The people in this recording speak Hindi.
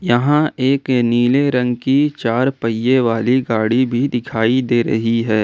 यहां एक नीले रंग की चार पहिए वाली गाड़ी भी दिखाई दे रही है।